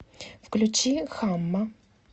включи хамма